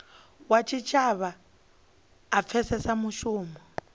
wa tshitshavha a pfesese mushumo